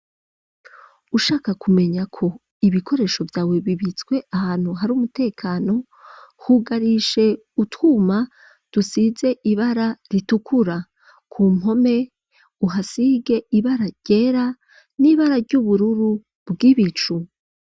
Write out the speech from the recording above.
Ushaka kumenya ko ibikoresho vyawe bibitswe ahantu hari umutekano, hugarishe utwuma dusize ibara ritukura ,ku mpome uhasige ibara ryera n'ibara ry'ubururu bw'ibicu.